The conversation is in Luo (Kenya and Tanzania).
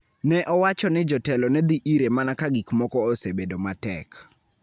ne owacho ni jotelo ne dhi ire mana "ka gik moko osebedo matek".